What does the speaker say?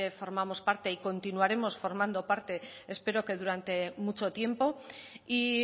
formamos parte y continuaremos formando parte espero que durante mucho tiempo y